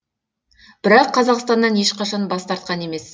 бірақ қазақстаннан ешқашан бас тартқан емес